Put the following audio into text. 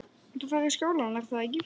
Þú ferð í skólann, er að ekki?